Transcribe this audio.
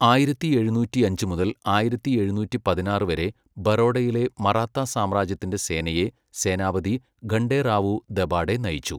ആയിരത്തി എഴുന്നൂറ്റി അഞ്ച് മുതൽ ആയിരത്തി എഴുന്നൂറ്റി പതിനാറ് വരെ, ബറോഡയിലെ മറാത്ത സാമ്രാജ്യത്തിന്റെ സേനയെ സേനാപതി ഖണ്ഡേറാവു ദബാഡെ നയിച്ചു.